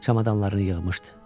Çamadanlarını yığmışdı.